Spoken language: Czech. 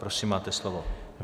Prosím, máte slovo.